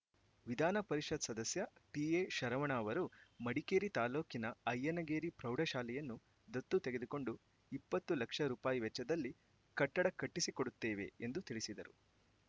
ವಿಧಾನ ಪರಿಷತ್‌ ಸದಸ್ಯ ಟಿಎ ಶರವಣ ಅವರು ಮಡಿಕೇರಿ ತಾಲೂಕಿನ ಅಯ್ಯನಗೇರಿ ಪ್ರೌಢಶಾಲೆಯನ್ನು ದತ್ತು ತೆಗೆದುಕೊಂಡು ಇಪ್ಪತ್ತು ಲಕ್ಷ ರೂಪಾಯಿ ವೆಚ್ಚದಲ್ಲಿ ಕಟ್ಟಡ ಕಟ್ಟಿಸಿಕೊಡುತ್ತೇವೆ ಎಂದು ತಿಳಿಸಿದರು